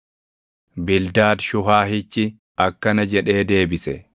Bildaad Shuhaahichi akkana jedhee deebise: